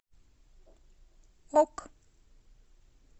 ок